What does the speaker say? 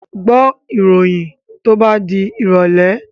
Gbọ́ ìròyìn to bá di ìrọ̀lẹ̀!